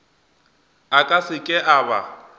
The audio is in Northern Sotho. a ka seke a ba